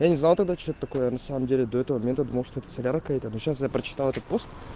я не знал тогда что это такое я на самом деле до этого момента думал что это солярка это но сейчас я прочитал этот пост